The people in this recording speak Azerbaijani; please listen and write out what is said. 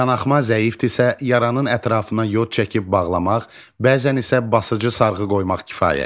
Qanaxma zəifdirsə, yaranın ətrafına yod çəkib bağlamaq, bəzən isə basıcı sarğı qoymaq kifayətdir.